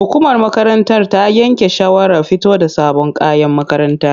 Hukumar makarantar ta yanke shawarar fito da sabon kayan makaranta.